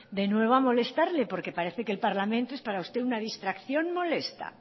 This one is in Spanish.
de nuevo a molestarle porque parece que el parlamento es para usted una distracción molesta